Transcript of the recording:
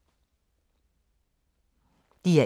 DR1